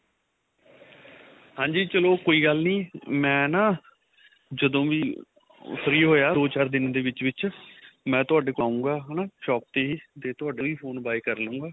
ਹਾਂਜੀ ਚਲੋ ਕੋਈ ਗੱਲ ਨੀ ਮੈਂ ਨਾ ਜਦੋ ਵੀ free ਹੋਇਆ ਦੋ ਚਾਰ ਦਿਨ ਦੇ ਵਿੱਚ ਵਿੱਚ ਮੈਂ ਤੁਹਾਡੇ ਕੋਲ ਆਉਗਾ ਹਨਾ shop ਤੇ ਹੀ ਤੇ ਤੁਹਾਡੇ ਤੋਂ phone buy ਕਰਲੂਗਾ